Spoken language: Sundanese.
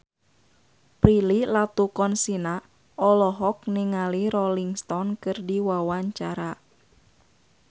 Prilly Latuconsina olohok ningali Rolling Stone keur diwawancara